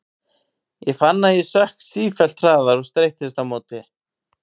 Ég fann að ég sökk sífellt hraðar og streittist á móti.